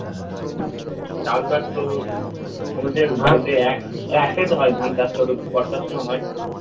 চাষবাস তো আমাদের একটাই তো হয় ধান চাষ ওটা তো বর্ষা সময় হয়